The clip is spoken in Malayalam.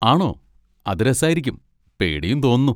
ആണോ, അത് രസായിരിക്കും, പേടിയും തോന്നുന്നു.